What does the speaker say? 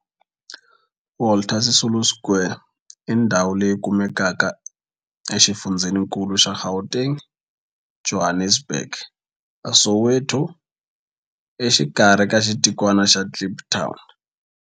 Walter Sisulu Square i ndhawu leyi kumekaka exifundzheninkulu xa Gauteng, Johannesburg, a Soweto, exikarhi ka xitikwana xa Kliptown.